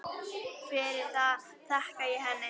Fyrir það þakka ég henni.